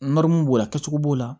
b'o la kɛcogo b'o la